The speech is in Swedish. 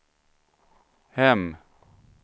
hem